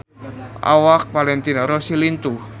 Awak Valentino Rossi lintuh